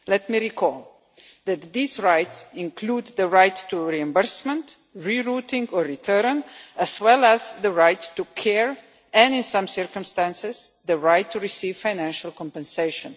Let me recall that these rights include the right to reimbursement, re routing or return, as well as the right to care and, in some circumstances, the right to receive financial compensation.